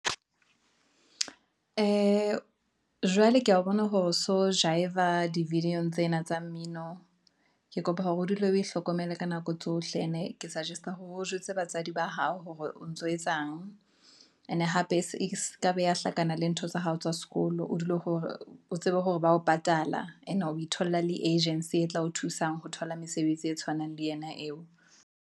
Ee, jwale ke ya bona hore so jaiva di video tsena tsa mmino, ke kopa hore o dule o hlokomele ka nako tsohle, ene ke sugest-a hore o jwetse batswadi ba hao hore o o ntso etsang. Ene hape se ka beha hlakana le ntho tsa hao tsa sekolo. O dule hore o tsebe hore ba ho patala, ene o itholla le agency e tla o thusang ho thola mesebetsi e tshwanang le yena eo.